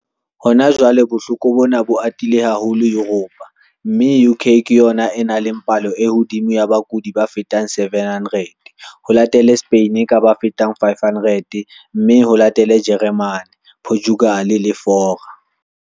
Hona jwale bohloko bona bo atile haholo Yuropa mme UK ke yona e nang le palo e hodimo ya bakudi ba fetang 700, ho latele Spain ka ba fetang 500 mme ho latele Jeremane, Portugal le Fora.